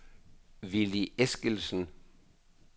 Willy Eskildsen